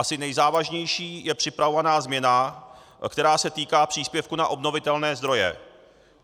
Asi nejzávažnější je připravovaná změna, která se týká příspěvku na obnovitelné zdroje.